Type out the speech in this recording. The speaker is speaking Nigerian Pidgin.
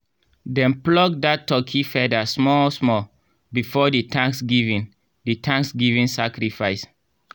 dem pluck that turkey feather small small before the thanksgiving the thanksgiving sacrifice.